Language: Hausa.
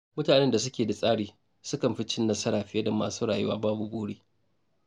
Mutanen da suke da tsari sukan fi cin nasara fiye da masu rayuwa babu buri.